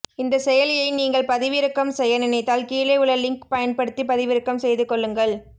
இந்த செயலியை நீங்கள் பதிவிறக்கம் செய்ய நினைத்தால் கீழே உள்ள லிங்க் பயன்படுத்தி பதிவிறக்கம் செய்து கொள்ளுங்கள்